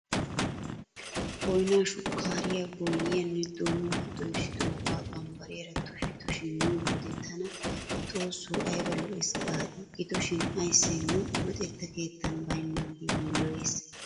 Boynaa, shukkaariyaa, boyyiyaanne donuwaa doyssidiogaa bambbariyaara tusha tusha miyo wode tana xoosso ayba lo'ees gaadii! Gidoshin ayssee nu luxetta keettan baynnaagee yiiloyees.